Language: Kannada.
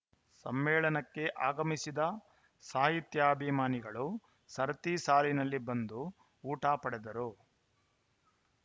ಸಮ್ಮೇಳನಕ್ಕೆ ಆಗಮಿಸಿದ ಸಾಹಿತ್ಯಾಭಿಮಾನಿಗಳು ಸರತಿ ಸಾಲಿನಲ್ಲಿ ಬಂದು ಊಟ ಪಡೆದರು